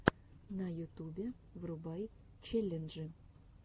на ютубе врубай челленджи